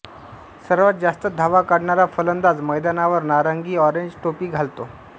सर्वात जास्त धावा काढणारा फलंदाज मैदानावर नारंगीऑरेंज टोपी घालतो